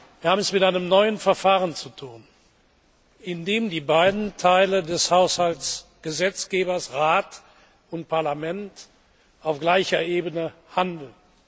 Wir haben es mit einem neuen Verfahren zu tun, in dem die beiden Teile des Haushaltsgesetzgebers, Rat und Parlament, auf gleicher Ebene handeln.